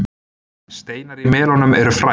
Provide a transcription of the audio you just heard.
steinar í melónum eru fræ